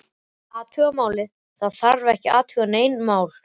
Athuga málið, það þarf ekki að athuga nein mál